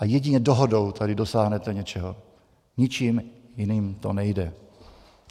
A jedině dohodou tady dosáhnete něčeho, ničím jiným to nejde.